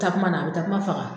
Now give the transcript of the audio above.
Takuma na, a bɛ takua faga.